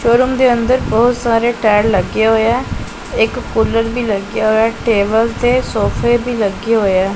Showroom ਦੇ ਅੰਦਰ ਬਹੁਤ ਸਾਰੇ ਟਾਇਰ ਲੱਗੇ ਹੋਏ ਆ ਇੱਕ ਕੂਲਰ ਵੀ ਲੱਗਿਆ ਹੋਇਆ ਏ ਟੇਬਲ ਤੇ ਸੋਫੇ ਵੀ ਲੱਗੇ ਹੋਏ ਆ।